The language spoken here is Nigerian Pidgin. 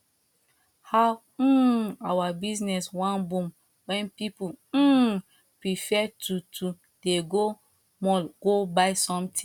how um our business wan boom when people um prefer to to dey go mall go buy something